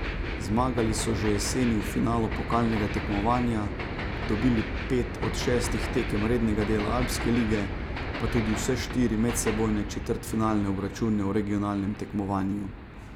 Zmagali so že jeseni v finalu pokalnega tekmovanja, dobili pet od šestih tekem rednega dela alpske lige, pa tudi vse štiri medsebojne četrtfinalne obračune v regionalnem tekmovanju.